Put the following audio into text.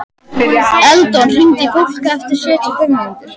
Eldon, hringdu í Fólka eftir sjötíu og fimm mínútur.